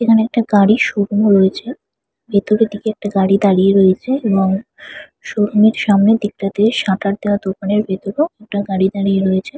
এখানে একটা গাড়ির শোরুম রয়েছে ভেতরের দিকে একটি গাড়ি দাঁড়িয়ে রয়েছে এবং শোরুমে -এরসামনের দিকটাতে সাটার দেওয়া দোকানের ভেতরেও একটা গাড়ি দাঁড়িয়ে রয়েছে।